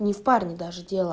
не в парне даже дело